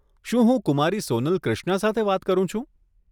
શું હું કુમારી સોનલ ક્રિશ્ના સાથે વાત કરું છું?